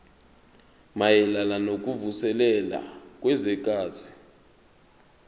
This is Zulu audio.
mayelana nokuvuselela kwezwekazi